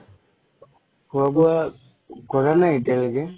খুৱা বুৱা কৰা নাই এতিয়া লৈকে।